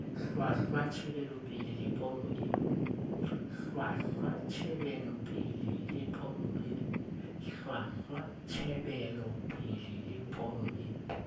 hlwahlwa tjhebelopele le pono e